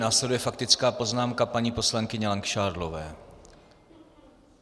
Následuje faktická poznámka paní poslankyně Langšádlové.